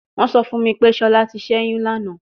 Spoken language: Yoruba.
Wọn sọ fun mi pe Shola ti ṣẹyun lana